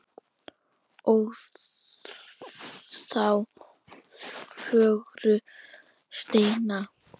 ó þá fögru steina